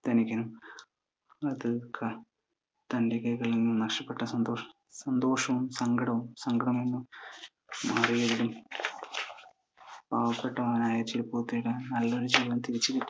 ധനികനും അത് തന്റെ കൈയിൽ നിന്ന് നഷ്ടപ്പെട്ടെന്ന സന്തോഷവും, സങ്കടവും മാറി. പാവപ്പെട്ടവനായ ചെരുപ്പുകുത്തിയുടെ നല്ലൊരു ജീവിതം തിരിച്ചു കിട്ടിയതും